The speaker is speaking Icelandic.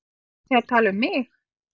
Voruð þið að tala um mig?